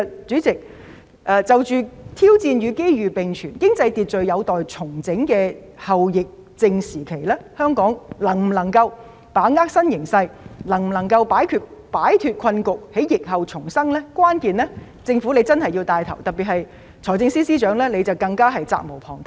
主席，在挑戰與機遇並存，經濟秩序有待重整的後疫症時期，香港是否能夠把握新形勢、擺脫困局，在疫後重生，關鍵在於政府一定要作牽頭，財政司司長更是責無旁貸。